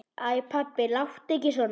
Æ pabbi, láttu ekki svona.